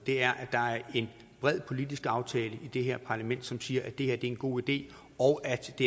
er en bred politisk aftale i det her parlament som siger at det her er en god idé og at det